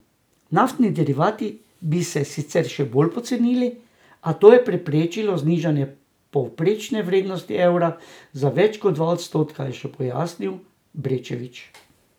Naftni derivati bi se sicer še bolj pocenili, a to je preprečilo znižanje povprečne vrednosti evra za več kot dva odstotka, je še pojasnil Brečevič.